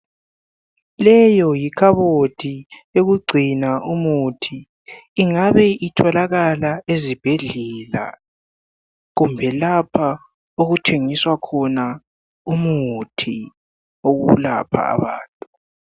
Leyo yikhabothi yokugcina umithi. Ingabe itholakala ezibhedlela, kumbe lapha okuthengiswa khona umithi wokulapha abantu.